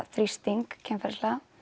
þrýsting kynferðislega